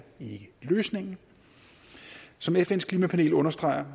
ikke løsningen som fns klimapanel understreger